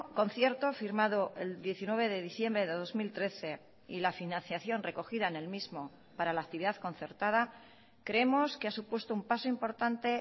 concierto firmado el diecinueve de diciembre de dos mil trece y la financiación recogida en el mismo para la actividad concertada creemos que ha supuesto un paso importante